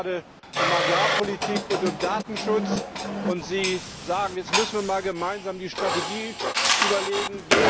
Es geht gerade um Agrarpolitik und um Datenschutz, und Sie sagen Jetzt müssen wir gemeinsam die Strategie überlegen.